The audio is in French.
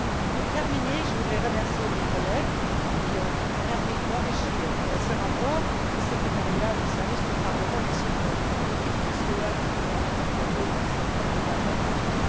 Pour terminer, je voudrais remercier mes collègues qui ont permis d'enrichir ce rapport, le secrétariat, les services du Parlement et surtout l'équipe STOA qui nous a accompagnés dans cette formidable aventure.